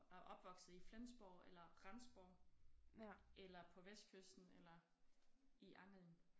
er opvokset i Flensborg eller Rendsborg eller på vestkysten eller i Angeln